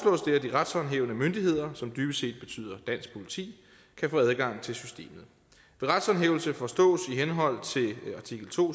at de retshåndhævende myndigheder som dybest set betyder dansk politi kan få adgang til systemet ved retshåndhævelse forstås i henhold til artikel to